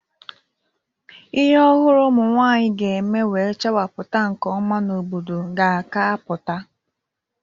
Ihe ọhụrụ ụmụnwanyị ga-eme wee chawapụta nke ọma n'obodo ka a ga-apụta.